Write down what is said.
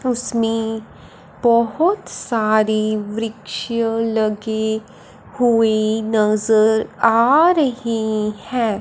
उसमें बहोत सारी वृक्ष लगी हुई नजर आ रही हैं।